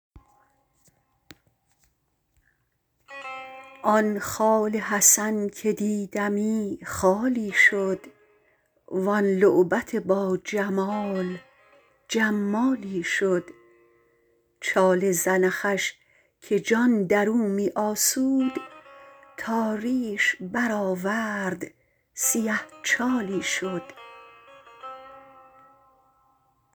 آن خال حسن که دیدمی خالی شد وان لعبت با جمال جمالی شد چال زنخش که جان درو می آسود تا ریش برآورد سیه چالی شد